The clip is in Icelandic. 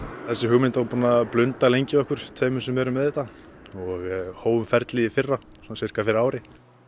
þessi hugmynd var búin að blunda lengi í okkur tveimur sem erum með þetta og við hófum ferlið í fyrra sirka fyrir ári